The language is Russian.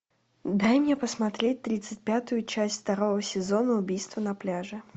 дай мне посмотреть тридцать пятую часть второго сезона убийство на пляже